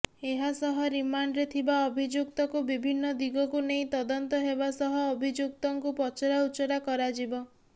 ଏହା ସହ ରିମାଣ୍ଡରେ ଥିବା ଅଭିଯୁକ୍ତକୁ ବିଭିନ୍ନ ଦିଗକୁ ନେଇ ତଦନ୍ତ ହେବା ସହ ଅଭିଯୁକ୍ତଙ୍କୁ ପଚରାଉଚରା କରାଯିବ